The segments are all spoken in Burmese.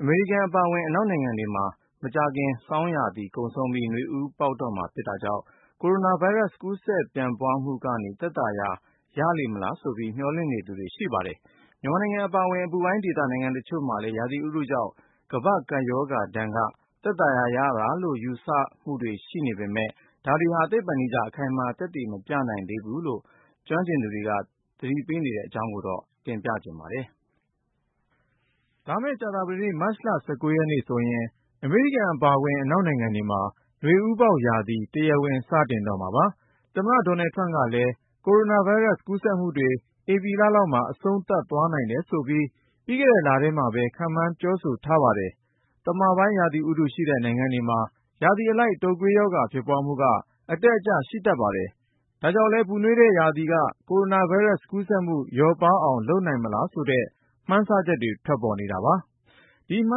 အမေရိကန် အပါအဝင် အနောက်နိုင်ငံတွေမှာ မကြာခင် ဆောင်းရာသီကုန်ဆုံးပြီး နွေဦးပေါက်တော့မှာ ဖြစ်တာကြောင့် ကိုရိုနာဗိုင်းရပ်စ် ကူးစက်ပြန့်ပွားမှုကနေ သက်သာရာရလေမလားဆိုပြီး မျှော်လင့်နေသူတွေ ရှိပါတယ်။ မြန်မာနိုင်ငံ အပါအဝင် အပူပိုင်းဒေသ နိုင်ငံတချို့မှာလည်း ရာသီဥတုကြောင့် ကမ္ဘာ့ကပ်ရောဂါဒဏ်က သက်သာရာရတာလို့ ယူဆချက်တွေ ရှိနေပေမယ့် ဒါတွေဟာ သိပ္ပံနည်းကျ အခိုင်အမာ သက်သေမပြနိုင်သေးဘူးလို့ ကျွမ်းကျင်သူတွေက သတိပေးနေတဲ့အကြောင်း ကိုဉာဏ်ဝင်းအောင်က ပြောပြမှာ ဖြစ်ပါတယ်။ လာမယ့် ကြာသပတေး မတ်လ ၁၉ ရက်နေ့ဆိုရင် အမေရိကန် အပါအဝင် အနောက်နိုင်ငံတွေမှာ နွေဦးပေါက်ရာသီ တရားဝင် စတင်တော့မှာပါ။ သမ္မတ Donald Trump ကလည်း ကိုရိုနာဗိုင်းရပ်စ် ကူးစက်မှုတွေ ဧပြီလလောက်မှာ အဆုံးသတ်သွားနိုင်တယ်ဆိုပြီး ပြီးခဲ့တဲ့လထဲမှာပဲ ခန့်မှန်း ပြောဆိုထားပါတယ်။ သမပိုင်း ရာသီဥတုရှိတဲ့ နိုင်ငံတွေမှာ ရာသီအလိုက် တုပ်ကွေးရောဂါ ဖြစ်ပွားမှုက အတက်အကျ ရှိတတ်ပါတယ်။ ဒါ့ကြောင့်လည်း ပူနွေးတဲ့ရာသီက ကိုရိုနာဗိုင်းရပ်စ် ကူးစက်မှု လျော့ပါးအောင် လုပ်နိုင်မလားဆိုတဲ့ မှန်းဆချက်တွေ ထွက်ပေါ်နေတာပါ။ ဒီမှ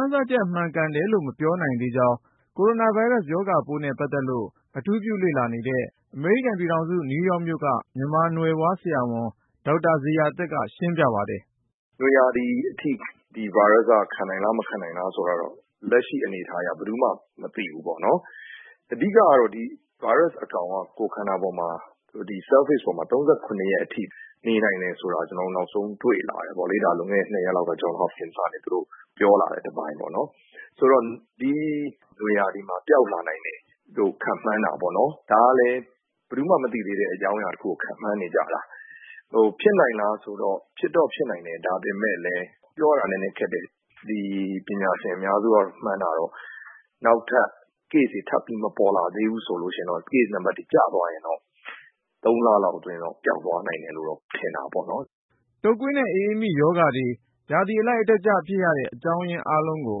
န်းဆချက် မှန်ကန်တယ်လို့ မပြောနိုင်သေးကြောင်း ကိုရိုနာဗိုင်းရပ်စ် ရောဂါပိုးနဲ့ ပတ်သက်လို့ အထူးပြုလေ့လာနေတဲ့ အမေရိကန်ပြည်ထောင်စု နယူးယောက်မြို့က မြန်မာနွယ်ဖွား ဆရာဝန် ဒေါက်တာဇေယျာသက်က ရှင်းပြပါတယ်။ “နွေရာသီအထိ ဒီဗိုင်းရပ်စ်က ခံနိုင်သလား၊ မခံနိုင်ဘူးလား ဆိုတာကတော့ လက်ရှိအနေအထားအရ ဘယ်သူမှ မသိဘူးပေါ့နော်။ အဓိကကတော့ ဒီဗိုင်းရပ်စ်အကောင်က ကိုယ်ခန္ဓာပေါ်မှာ၊ ဒီ Surface ပေါ်မှာ ၃၇ ရက်အထိ နေနိုင်တယ်ဆိုတာ ကျနော်တို့ နောက်ဆုံး တွေ့လာကြတယ်ပေါ့လေ။ ဒါ လွန်ခဲ့တဲ့ နှစ်ရက်လောက်က Johns Hopkins တက္ကသိုလ်ကနေ သူတို့ပြောလာတဲ့ တပိုင်းပေါ့နော်။ ဆိုတော့ ဒီနွေရာသီမှာ ပျောက်လာနိုင်တယ်လို့ ခန့်မှန်းကြတာပေါ့၊ ဒါကလည်း ဘယ်သူမှ မသိသေးတဲ့ အကြောင်းအရာတခုကို ခန့်မှန်းနေကြတာ။ ဟို ဖြစ်နိုင်လားဆိုတော့ ဖြစ်တော့ဖြစ်နိုင်တယ်၊ ဒါပေမယ့်လည်း ပြောရတာ နည်းနည်းခက်တယ်။ ဒီ ပညာရှင်အများစုက မှန်းတာကတော့ နောက်ထပ် ကူးစက်တဲ့ case တွေ ထပ်မပေါ်လာဘူးဆိုရင်တော့၊ case အရေအတွက် ကျသွားရင်တော့ သုံးလလောက်အတွင်း ပျောက်သွားနိုင်တယ်လို့တော့ ထင်တာပေါ့နော်။” တုပ်ကွေးနဲ့ အအေးမိရောဂါတွေ ရာသီအလိုက် အတက်အကျဖြစ်ရတဲ့ အကြောင်းရင်း အားလုံးကို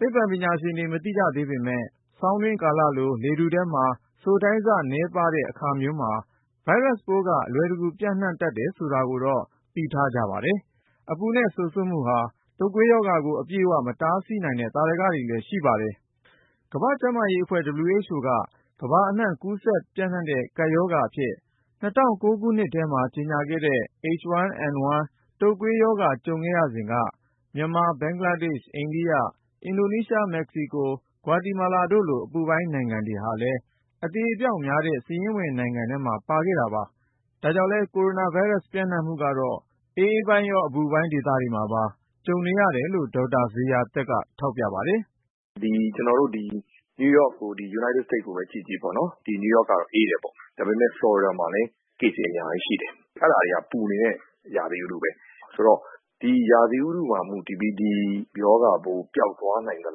သိပ္ပံပညာရှင်တွေ မသိကြသေးပေမယ့် ဆောင်းတွင်းကာလလို လေထဲမှာ စိုထိုင်းဆနည်းပါးတဲ့ အခါမျိုးမှာ ဗိုင်းရပ်စ်ပိုးတွေ အလွယ်တကူ ပျံ့နှံ့တတ်တယ် ဆိုတာကိုတော့ သိထားကြပါတယ်။ အပူနဲ့ စိုစွတ်မှုဟာ တုပ်ကွေးရောဂါကို အပြည့်အ၀ မတားဆီးနိုင်တဲ့ သာဓကတွေလည်း ရှိပါတယ်။ ကမ္ဘာ့ကျန်းမာရေးအဖွဲ့ က ကမ္ဘာအနှံ့ ကူးစက်ပျံ့နှံ့တဲ့ ကပ်ရောဂါအဖြစ် ၂၀၀၉ ခုနှစ်ထဲမှာ ကြေညာခဲ့တဲ့ H1N1 တုပ်ကွေးရောဂါ ကြုံခဲ့ရစဉ်က မြန်မာ၊ ဘင်္ဂလားဒေ့ရှ်၊ အိန္ဒိယ၊ အင်ဒိုနီးရှား၊ မက္ကဆီကိုနဲ့ ဂွါတီမာလာတို့လို အပူပိုင်း နိုင်ငံတွေဟာလည်း အသေအပျောက်များတဲ့ စာရင်းဝင်နိုင်ငံတွေထဲမှာ အပါအဝင် ဖြစ်ခဲ့တာပါ။ ဒါကြောင့် ကိုရိုနာဗိုင်းရပ်စ် ပျံ့နှံ့မှုကတော့ အအေးပိုင်းရော၊ အပူပိုင်း ဒေသတွေမှာပါ ကြုံနေရတယ်လို့ ဒေါက်တာဇေယျာသက်က ထောက်ပြပါတယ်။ “ကျနော်တို့ အမေရိကန် နယူးယောက်ကိုပဲ ကြည့်ကြည့်၊ ဒီ နယူးယောက်က အေးတယ်ပေါ့။ ဒါပေမယ့် ဖလော်ရီဒါမှာလည်း ကူးစက်မှုတွေရှိတယ်၊ အဲဒီမှာက ပူနွေးတဲ့ ရာသီဥတုပဲ။ ဆိုတော့ ဒီရာသီဥတုပေါ် မူတည်ပြီး ဒီရောဂါပိုး ပျောက်သွားနိုင်သ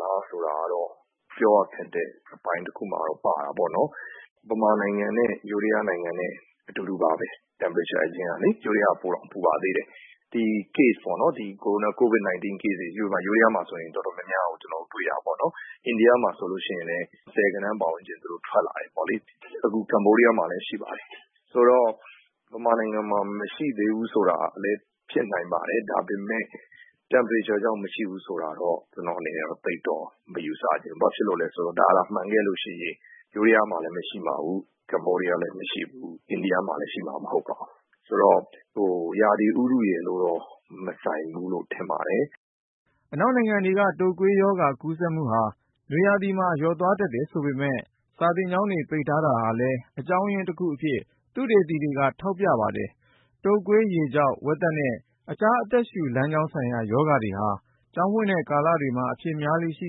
လား ဆိုတာကတော့ ပြောရခက်တဲ့ အပိုင်းတခုမှာတော့ ပါတာပေါ့။ မြန်မာဆိုရင်လည်း ထိုင်းနိုင်ငံနဲ့ အတူတူပါပဲ၊ ထိုင်းကတောင် ပိုပူပါသေးတယ်။ ဒီ Covid-19 case တွေဆို ထိုင်းနိုင်ငံမှာ တော်တော်များများ ကျနော်တို့ တွေ့ရတာပေါ့နော်။ အိန္ဒိယမှာ ဆိုလို့ရှိရင်လည်း ဆယ်ဂဏန်းပတ်ဝန်းကျင် ထွက်လာတယ်ပေါ့လေ။ အခု ကမ္ဘောဒီးယားမှာလည်း ရှိပါတယ်။ ဆိုတော့ မြန်မာနိုင်ငံမှာ မရှိသေးဘူး ဆိုတာကလည်း ဖြစ်နိုင်ပါတယ်။ ဒါပေမယ့် အပူချိန်မြင့်လို့ မရှိဘူးဆိုတာကိုတော့ ကျနော့်အနေနဲ့ သိပ်တော့ မယူဆချင်ဘူး၊ ဘာဖြစ်လို့လဲဆိုတော့ ဒါသာ မှန်ခဲ့လို့ရှိရင် ထိုင်းမှာလည်း ရှိမှာမဟုတ်ပါဘူး၊ ကမ္ဘောဒီးယားလည်း မရှိနိုင်ဘူး၊ အိန္ဒိယမှာလည်း ရှိမှာ မဟုတ်ပါဘူး။ ဆိုတော့ ရာသီဥတုရယ်လို့တော့ မဆိုင်ဘူးလို့ ထင်ပါတယ်။” အနောက်နိုင်ငံတွေက တုပ်ကွေးရောဂါ ကူးစက်မှုဟာ နွေရာသီမှာ လျော့သွားတတ်တယ် ဆိုပေမယ့် စာသင်ကျောင်းတွေ ပိတ်ထားတာဟာလည်း အကြောင်းရင်းတခုအဖြစ် သုတေသီတွေက ထောက်ပြကြပါတယ်။ တုပ်ကွေး၊ ရေကျောက်၊ ဝက်သက်နဲ့ တခြား အသက်ရှူလမ်းကြောင်းဆိုင်ရာ ရောဂါတွေဟာ ကျောင်းဖွင့်တဲ့ ကာလတွေမှာ အဖြစ်များလေ့ ရှိ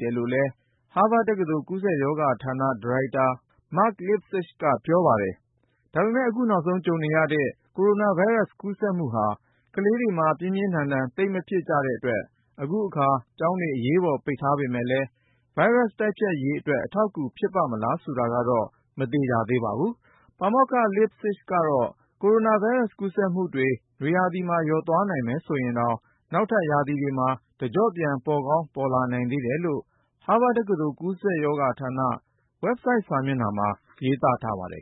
တယ်လို့လည်း ဟားဗတ်တက္ကသိုလ် ကူးစက်ရောဂါဌာန ဒါရိုက်တာ Mark Lipsitch က ပြောပါတယ်။ ဒါပေမယ့် အခုနောက်ဆုံး ကြုံနေရတဲ့ ကိုရိုနာဗိုင်းရပ်စ် ကူးစက်မှုဟာ ကလေးတွေမှာ ပြင်းပြင်းထန်ထန် သိပ်မဖြစ်ကြတဲ့အတွက် အခုအခါ ကျောင်းတွေ အရေးပေါ် ပိတ်ထားပေမယ့် ဗိုင်းရပ်စ်တိုက်ဖျက်ရေးအတွက် အထောက်အကူ ဖြစ်ပါ့မလား ဆိုတာကတော့ မသေချာသေးပါဘူး။ ပါမောက္ခ Lipsitch ကတော့ ကိုရိုနာဗိုင်းရပ်စ် ကူးစက်မှုတွေ နွေရာသီမှာ လျော့သွားမယ်ဆိုရင်တောင် နောက်ထပ်ရာသီတွေမှာ တကျော့ပြန် ပေါ်ကောင်းပေါ်လာနိုင်သေးတယ်လို့ ဟားဗတ်တက္ကသိုလ် ကူးစက်ရောဂါဌာန ဝက်ဘ်ဆိုက်စာမျက်နှာမှာ ရေးသားထားပါတယ်